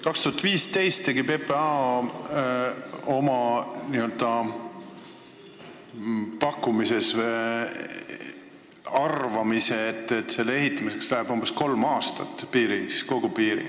2015. aastal pakkus PPA välja arvamuse, et kogu piiri ehitamiseks kulub umbes kolm aastat.